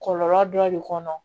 Kɔlɔlɔ dɔ de kɔnɔ